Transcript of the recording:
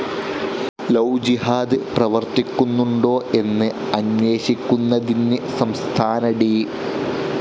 Love jihad പ്രവർത്തിക്കുന്നുണ്ടോ എന്ന് അന്വേഷിക്കുന്നതിന് സംസ്ഥാന ഡി.